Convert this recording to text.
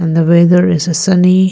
The weather is a sunny.